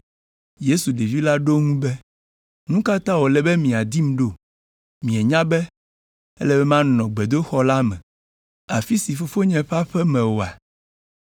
Yesu, ɖevi la ɖo eŋu be, “Nu ka ta wòle be miadim ɖo? Mienya be ele be manɔ Gbedoxɔ la me, afi si nye Fofonye ƒe aƒe me oa?”